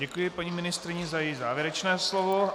Děkuji paní ministryni za její závěrečné slovo.